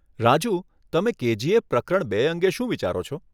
રાજૂ, તમે કેજીએફ પ્રકરણ બે અંગે શું વિચારો છો?